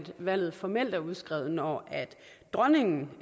valget formelt er udskrevet når dronningen